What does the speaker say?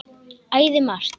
Æði margt.